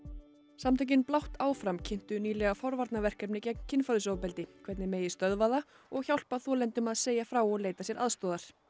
samtökin Blátt áfram kynntu nýlega forvarnarverkefni gegn kynferðisofbeldi hvernig megi stöðva það og hjálpa þolendum að segja frá og leita sér aðstoðar